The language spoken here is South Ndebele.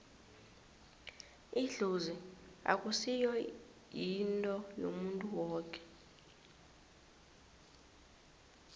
idlozi akusi yinto yomuntu woke